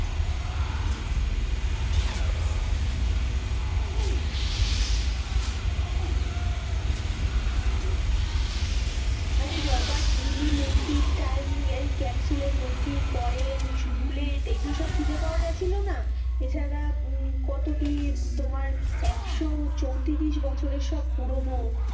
আরে রোবট এলি মূর্তির টাইম ক্যাপসুলের নথি কইন বুলেট এগুলো সব খুঁজে পাওয়া গেছিলো না, এছাড়া কত কি হম তোমার একশো চৈতিরিশ বছরের সব পুরোনো,